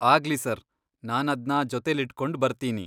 ಆಗ್ಲಿ ಸರ್! ನಾನದ್ನ ಜೊತೆಲಿಟ್ಕೊಂಡ್ ಬರ್ತೀನಿ.